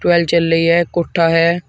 Tubewell चल रही है है।